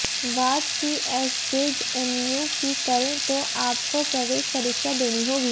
बात सीएसजेएमयू की करें तो आपको प्रवेश परीक्षा देनी होगी